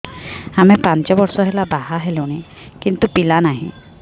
ଆମେ ପାଞ୍ଚ ବର୍ଷ ହେଲା ବାହା ହେଲୁଣି କିନ୍ତୁ ପିଲା ନାହିଁ